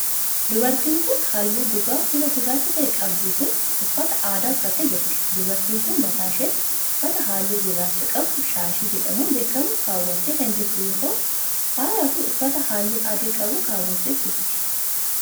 Dubartiin haalluu gogaa fuulaa gurraacha ta'e qabdu kun, uffata aadaa uffattee jirti. Dubartiin kun, mataa isheetti uffata haalluu gurraacha qabu shaashii jedhamuun beekamu kaawwattee kan jirtu yoo ta'u, faaya fi uffata haalluu adii qabu kaawwattees jirti.